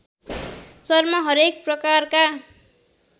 शर्मा हरेक प्रकारका